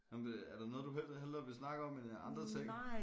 Nåh men det er der noget du hellere vil snakke om end andre ting